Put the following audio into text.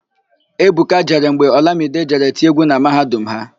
Ebuka jere mgbe Ọlamide jere tie égwú na mahadum ha.